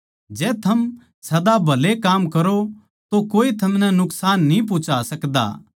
जै थम सदा भले काम करो तो कोए थमनै नुकसान न्ही पुहुचा सकदा